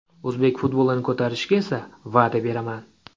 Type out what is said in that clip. O‘zbek futbolini ko‘tarishga esa va’da beraman!